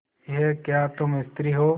यह क्या तुम स्त्री हो